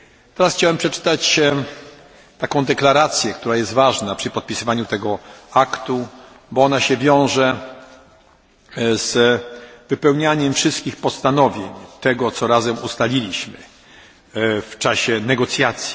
Teraz chciałbym przeczytać taką deklarację, która jest ważna przy podpisywaniu tego aktu, bo wiąże się ona z wypełnianiem wszystkich postanowień tego, co razem ustaliliśmy w czasie negocjacji.